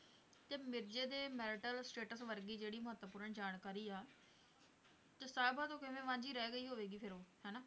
ਤੇ ਮਿਰਜ਼ੇ ਦੇ marital status ਵਰਗੀ ਜਿਹੜੀ ਮਹੱਤਵਪੂਰਨ ਜਾਣਕਾਰੀ ਆ ਤੇ ਸਾਹਿਬਾਂ ਤੋਂ ਕਿਵੇਂ ਵਾਂਝੀ ਰਹਿ ਗਈ ਹੋਵੇਗੀ ਫਿਰ ਉਹ ਹਨਾ